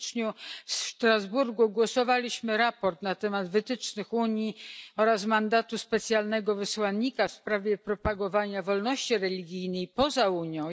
W styczniu w Strasburgu głosowaliśmy nad sprawozdaniem na temat wytycznych Unii oraz mandatu specjalnego wysłannika w sprawie propagowania wolności religijnej poza Unią.